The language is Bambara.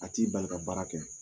A t'i bali ka baara kɛ.